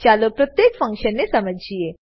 ચાલો પ્રત્યેક ફન્કશનને સમજીએ